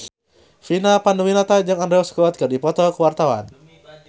Vina Panduwinata jeung Andrew Scott keur dipoto ku wartawan